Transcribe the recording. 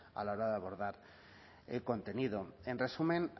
a la hora de abordar el contenido en resumen